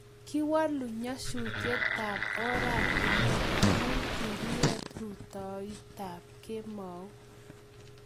kiwolu nyasutietab ortinwek amu kikiet rutoitab kemou